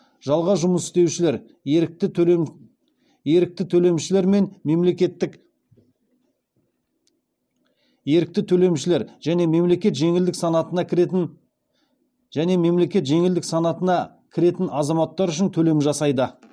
жалға жұмыс істеушілер ерікті төлемшілер және мемлекет жеңілдік санатына кіретін азаматтар үшін төлем жасайды